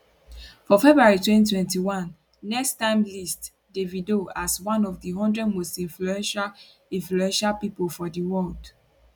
for february 2021 next time list davido as one of di one hundred most influential influential pipo for di world